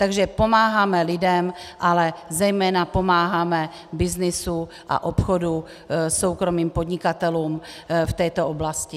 Takže pomáháme lidem, ale zejména pomáháme byznysu a obchodu soukromých podnikatelů v této oblasti.